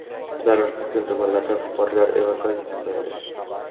Zarar ko‘rgan tumanlardan fuqarolar evakuatsiya qilindi.